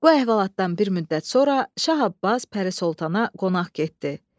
Bu əhvalatdan bir müddət sonra Şah Abbas Pərisoltana qonaq getdi.